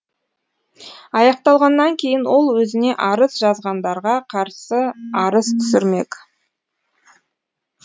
аяқталғаннан кейін ол өзіне арыз жазғандарға қарсы арыз түсірмек